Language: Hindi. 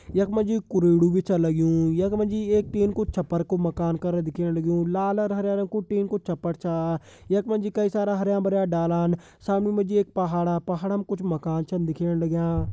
यख मा जी कुरुडु भी छ लग्युं यख मा जी एक टीन कु छप्पर कु मकान कर दिख्येण लग्यूं लाल अर हरे रंग कु टीन कु छप्पर छा यख मा जी कई सारा हर्या-भर्या डालान सामण मा जी एक पहाड़ा पहाड़ा म कुछ मकान छन दिख्येण लग्यां।